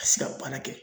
Ka se ka baara kɛ